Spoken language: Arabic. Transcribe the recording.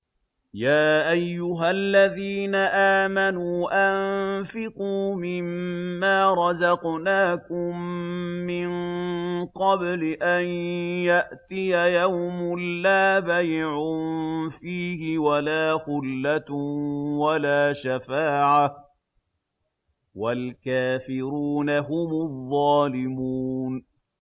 يَا أَيُّهَا الَّذِينَ آمَنُوا أَنفِقُوا مِمَّا رَزَقْنَاكُم مِّن قَبْلِ أَن يَأْتِيَ يَوْمٌ لَّا بَيْعٌ فِيهِ وَلَا خُلَّةٌ وَلَا شَفَاعَةٌ ۗ وَالْكَافِرُونَ هُمُ الظَّالِمُونَ